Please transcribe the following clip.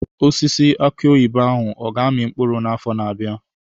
Osisi aki oyibo ahụ ọ ga-amị mkpụrụ n'afọ na-abịa?